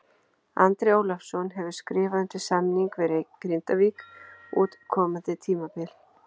Andri Ólafsson hefur skrifað undir samning við Grindavík út komandi tímabil.